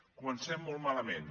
comencem molt malament